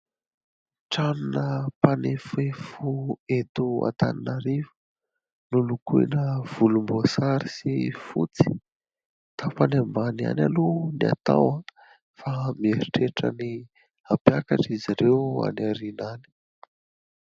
Tranona mpanefoefo eto Antananarivo, nolokoina volomboasary sy fotsy ; tapany ambany ihany aloha ny atao fa mieritreritra ny hampiakatr'izy ireo any aoriana any.